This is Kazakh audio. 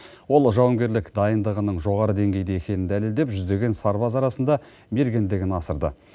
ол жауынгерлік дайындығының жоғары деңгейде екенін дәлелдеп жүздеген сарбаз арасында мергендігін асырды